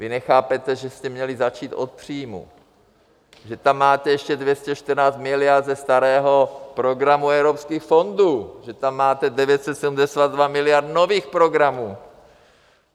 Vy nechápete, že jste měli začít od příjmů, že tam máte ještě 214 miliard ze starého programu evropských fondů, že tam máte 972 miliard nových programů.